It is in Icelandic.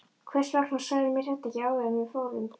Hvers vegna sagðirðu mér þetta ekki áður en við fórum?